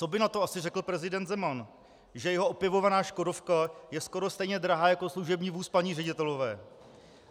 Co by na to asi řekl prezident Zeman, že jeho opěvovaná škodovka je skoro stejně drahá jako služební vůz paní ředitelové?